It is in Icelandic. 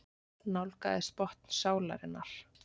Nálgaðist botn sálarinnar.